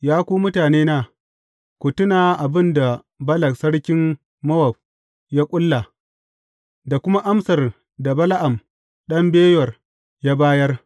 Ya ku mutanena, ku tuna abin da Balak sarkin Mowab ya ƙulla da kuma amsar da Bala’am ɗan Beyor ya bayar.